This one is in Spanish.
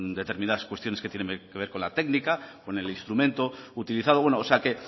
determinadas cuestiones que tienen que ver con la técnica con el instrumento utilizado bueno o sea que